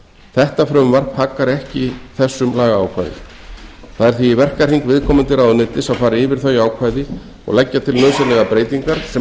þetta frumvarp haggar ekki þessum lagaákvæðum það er því í verkahring viðkomandi ráðuneytis að fara yfir þau ákvæði og leggja til nauðsynlegar breytingar sem